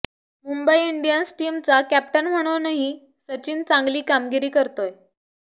Mumbai Indians टीमचा captain म्हणूनही सचिन चांगली कामगिरी करतोय